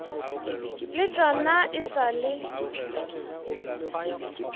le tšona e sa le